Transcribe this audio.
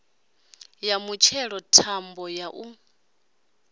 ya mutshelo thambo ya u